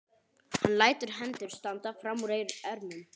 Hann lætur hendur standa fram úr ermum.